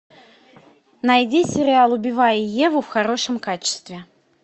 найди сериал убивая еву в хорошем качестве